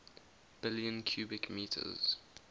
billion cubic meters